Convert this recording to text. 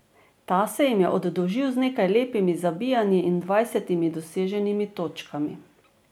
Ta se jim je oddolžil z nekaj lepimi zabijanji in dvajsetimi doseženimi točkami.